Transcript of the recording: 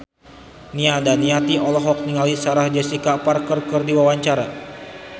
Nia Daniati olohok ningali Sarah Jessica Parker keur diwawancara